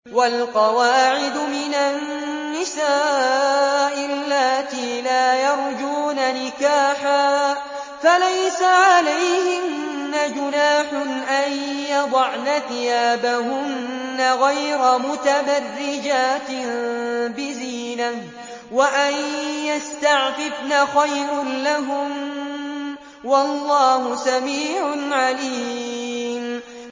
وَالْقَوَاعِدُ مِنَ النِّسَاءِ اللَّاتِي لَا يَرْجُونَ نِكَاحًا فَلَيْسَ عَلَيْهِنَّ جُنَاحٌ أَن يَضَعْنَ ثِيَابَهُنَّ غَيْرَ مُتَبَرِّجَاتٍ بِزِينَةٍ ۖ وَأَن يَسْتَعْفِفْنَ خَيْرٌ لَّهُنَّ ۗ وَاللَّهُ سَمِيعٌ عَلِيمٌ